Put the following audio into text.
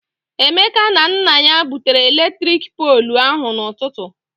Emeka na nna ya butere eletrik poolụ ahụ na-ụtụtụ.